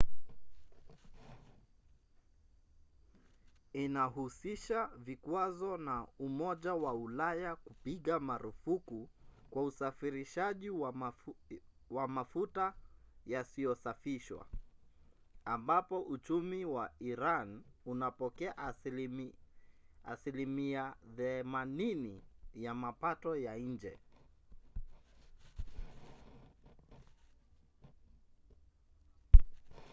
inahusisha vikwazo na umoja wa ulaya kupiga marufuku kwa usafirishaji wa mafuta yasiyosafishwa ambapo uchumi wa iran unapokea 80% ya mapato ya nje